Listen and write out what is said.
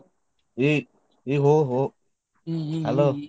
ಏ ನೀ ಹೊ ಹೊ.